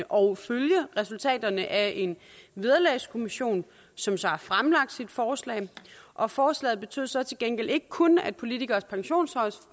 og følge resultaterne af en vederlagskommission som så har fremlagt sit forslag og forslaget betød så til gengæld ikke kun at politikeres pensionsforhold